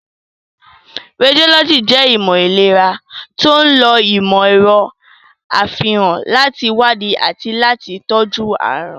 Rédiólọ́jì jẹ́ ìmọ̀ ìlera to ń lo ìmọ̀ ẹ̀rọ àfihàn láti wádìí àti láti tọ́jú àrùn.